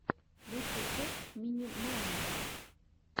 лучшая часть мини майнтер